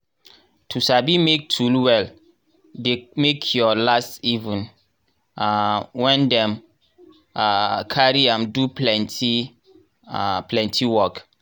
to sabi make tool well dey make your last even um when dem um carry am do plenty um work.